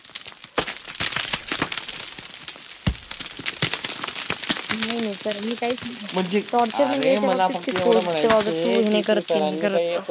नाय नाय sir मी काहीच तो अर्थच नाही